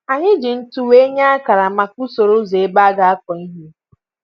anyị jì ntụ wéé nyé ákàrà maka usoro ụzọ ebe a ga akụ ihe